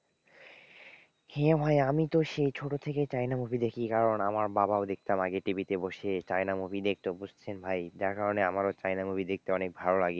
হ্যাঁ ভাই আমি তো সেই ছোটো থেকেই চায়না movie দেখি কারণ আমার বাবাও দেখতাম আগে TV তে বসে চায়না movie দেখতো বুঝছেন ভাই যার কারণে আমারও চায়না movie দেখতে অনেক ভালোলাগে।